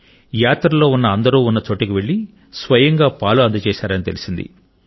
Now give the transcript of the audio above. యాత్రలో ఉన్న అందరూ ఉన్న చోటికి వెళ్ళి స్వయంగా పాలు అందజేశారని తెలిసింది